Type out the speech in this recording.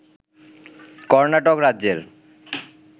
কর্ণাটক রাজ্যের